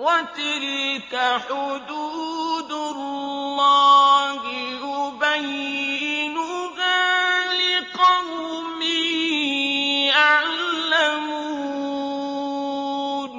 وَتِلْكَ حُدُودُ اللَّهِ يُبَيِّنُهَا لِقَوْمٍ يَعْلَمُونَ